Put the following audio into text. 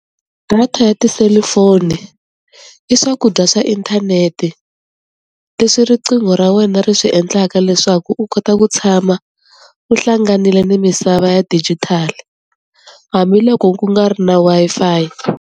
Data ya tiselifoni i swakudya swa inthanete leswi riqingho ra wena ri swi endlaka leswaku u kota ku tshama u hlanganile ni misava ya digital hambiloko ku nga ri na Wi-Fi.